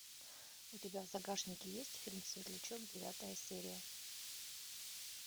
у тебя в загашнике есть фильм светлячок девятая серия